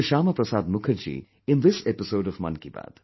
Shyama Prasad Mukherjee in this episode of Mann Ki Baat